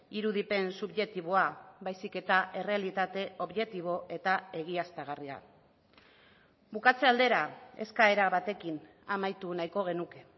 irudipen subjektiboa baizik eta errealitate objektibo eta egiaztagarria bukatze aldera eskaera batekin amaitu nahiko genuke